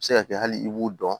A bɛ se ka kɛ hali i b'o dɔn